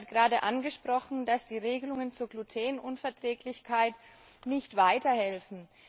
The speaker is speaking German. Sie hat gerade angesprochen, dass die Regelungen zur Glutenunverträglichkeit nicht weiterhelfen.